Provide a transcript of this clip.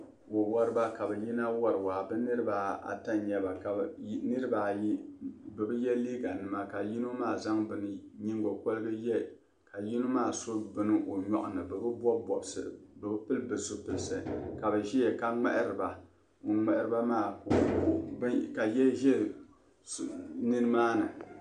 Wawariba ka bɛ yina wari waa bɛ niriba ata n-nyɛ ba ka niriba ayi bi ye liiganima ka yino maa zaŋ nyiŋgokɔrigu ye ka yino maa so bini o nyɔɣu ni bɛ bi bɔbi bɔbisi bɛ bi pili bɛ zupilisi ka bɛ ʒia ka ŋmahiri ba. Ka ya za nimaani.